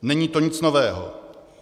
Není to nic nového.